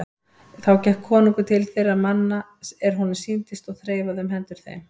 Þá gekk konungur til þeirra manna er honum sýndist og þreifaði um hendur þeim.